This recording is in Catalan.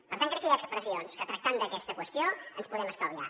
per tant crec que hi ha expressions que tractant d’aquesta qüestió ens podem estalviar